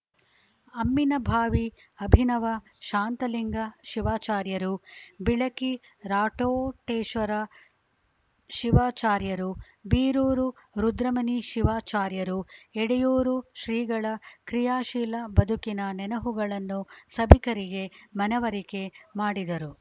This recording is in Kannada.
ಅಮ್ಮಿನಭಾವಿ ಅಭಿನವ ಶಾಂತಲಿಂಗ ಶಿವಾಚಾರ್ಯರು ಬಿಳಕಿ ರಾಟೋಟೇಶ್ವರ ಶಿವಾಚಾರ್ಯರು ಬೀರೂರು ರುದ್ರಮುನಿ ಶಿವಾಚಾರ್ಯರು ಎಡೆಯೂರು ಶ್ರೀಗಳ ಕ್ರಿಯಾಶೀಲ ಬದುಕಿನ ನೆನಹುಗಳನ್ನು ಸಭಿಕರಿಗೆ ಮನವರಿಕೆ ಮಾಡಿದರು